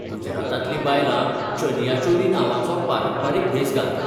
गुजरातांतलीं बायलां चनियो चोली नांवाचो पारंपारीक भेस घालतात.